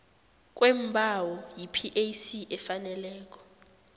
kweembawo yipac efaneleko